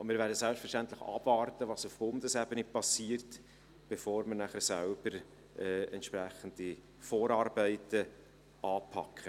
Wir werden selbstverständlich abwarten, was auf Bundesebene geschieht, bevor wir nachher selbst entsprechende Vorarbeiten anpacken.